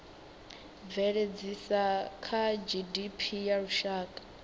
bveledzisa na gdp ya lushaka